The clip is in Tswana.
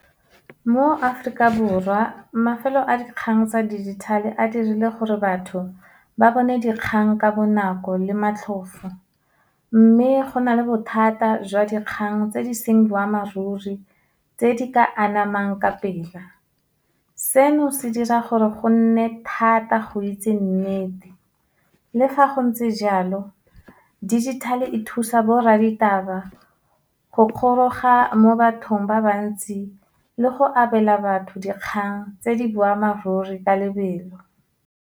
Mo Aforika Borwa, mafelo a dikgang tsa dijithale a dirile gore batho ba bone dikgang ka bonako le matlhofo. Mme, go na le bothata jwa dikgang tse di seng boammaaruri, tse di ka anamang ka pela. Seno, se dira gore go nne thata go itse nnete, le fa go ntse jalo, digital-e e thusa borra ditaba go mo bathong ba ba ntsi, le go abela batho dikgang tse di boammaaruri ka lebelo.